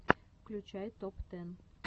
включай топ тэн